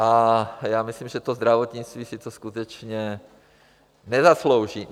A já myslím, že to zdravotnictví si to skutečně nezaslouží.